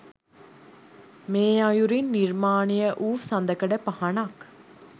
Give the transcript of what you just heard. මේ අයුරින් නිර්මාණය වූ සඳකඩ පහණක්